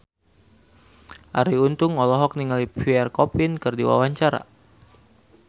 Arie Untung olohok ningali Pierre Coffin keur diwawancara